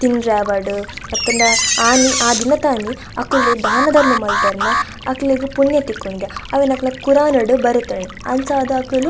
ತಿಂಡ್ರೆ ಆವಡ್ ಅತ್ತುಂಡ ಆನಿ ಆ ದಿನತಾನಿ ಅಕ್ಕ್ಲು ದಾನ ಧರ್ಮ ಮಂತೆರ್ನ ಅಕ್ಲೆಗ್ ಪುಣ್ಯ ತಿಕ್ಕುಂಡ್ ಗೆ ಅವೆನ್ ಅಕ್ಲೆನ ಕುರಾನ್ ಡ್ ಬರೆತ್ಂಡ್ ಅಂಚಾದ್ ಅಕುಲು.